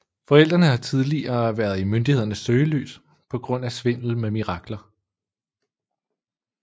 Forældrene har tidligere været i myndighedernes søgelys på grund af svindel med mirakler